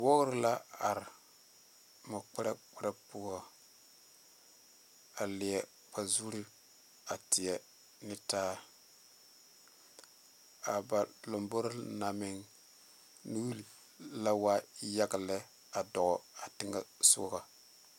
Wɔɔre la are mɔ kpɛre kpɛre poɔ a leɛ a zuu teɛ neŋ taa a ba lambore na meŋ nuule wa yaga lɛ a dɔ a teŋɛ sogo .